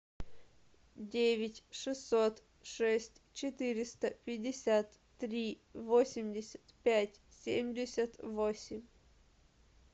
девять шестьсот шесть четыреста пятьдесят три восемьдесят пять семьдесят восемь